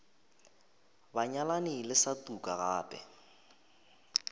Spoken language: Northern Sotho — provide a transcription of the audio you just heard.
banyalani le sa tuka gape